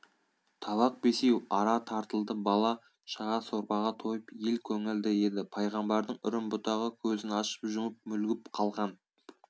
табақ бесеу ара тартылды бала-шаға сорпаға тойып ел көңілді еді пайғамбардың үрім-бұтағы көзін ашып-жұмып мүлгіп қалған